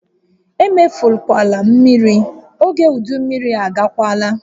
Emefukwala mmiri! Ógè udu mmiri agakwaala!